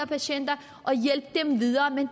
patienter og hjælpe dem videre men